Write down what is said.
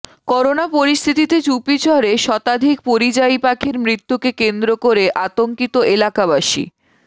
corona পরিস্থিতিতে চুপিচরে শতাধিক পরিযায়ী পাখির মৃত্যুকে কেন্দ্র করে আতঙ্কিত এলাকাবাসী